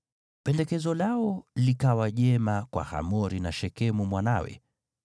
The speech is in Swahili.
Pendekezo lao likawa jema kwa Hamori na Shekemu mwanawe.